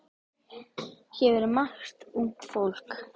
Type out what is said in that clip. Hér vinnur margt ungt fólk.